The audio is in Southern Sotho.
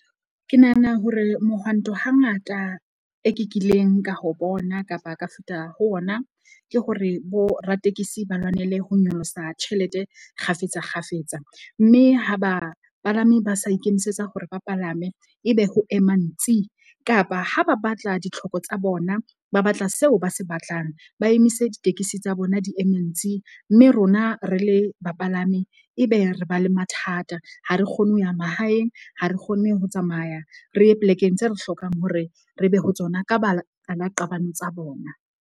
Ke nahana hore mohwanto hangata e ke kileng ka ho bona kapa ka feta ho ona, ke hore boratekesi ba lwanele ho nyolosa tjhelete kgafetsa kgafetsa. Mme ha bapalami ba sa ikemisetsa hore ba palame ebe ho ema ntsi kapa ha ba batla ditlhoko tsa bona, ba batla seo ba se batlang, ba emise. ditekesi tsa bona di eme ntsi. Mme rona re le bapalami, ebe re ba le mathata. Ha re kgone ho ya mahaeng, ha re kgone ho tsamaya re ye plek-eng tse re hlokang hore re be ho tsona ka baka la qabane tsa bona.